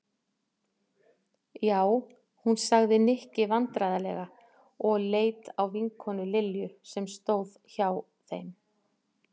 Já, hún sagði Nikki vandræðalega og leit á vinkonu Lilju sem stóð hjá þeim.